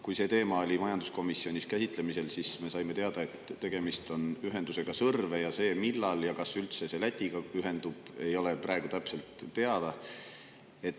Kui see teema oli majanduskomisjonis käsitlemisel, siis me saime teada, et tegemist on Sõrve ühendusega, ja see, millal ja kas see üldse Lätiga ühendub, ei ole praegu täpselt teada.